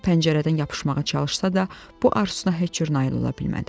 Sol əli ilə pəncərədən yapışmağa çalışsa da, bu arzusuna heç cür nail ola bilmədi.